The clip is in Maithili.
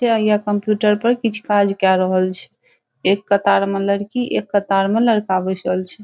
ते येह कंप्यूटर पर कीछ काज के रहल छै एक कतार में लड़की एक कतार मे लड़का बैसल छै।